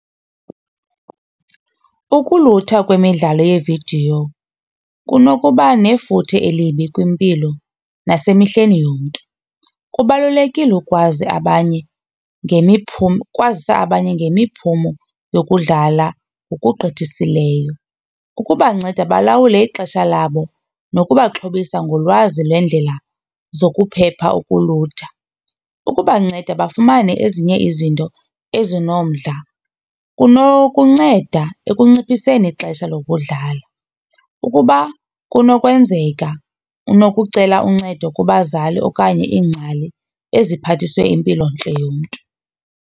Ukulutha kwemidlalo yevidiyo kunokuba nefuthe elibi kwimpilo nasemehlweni yomntu. Kubalulekile ukwazi abanye ngemiphumo, ukwazisa abanye ngemiphumo yokudlala ngokugqithisileyo. Ukubanceda balawule ixesha labo nokubaxhobisa ngolwazi lwendlela zokuphepha ukulutha. Ukubanceda bafumane ezinye izinto ezinomdla kunokunceda ekunciphiseni ixesha lokudlala. Ukuba kunokwenzeka unokucela uncedo kubazali okanye iingcali eziphathiswe impilontle yomntu.